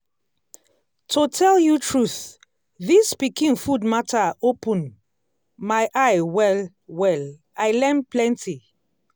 to tell you truth this pikin food matter open my eye well-well i learn plenty.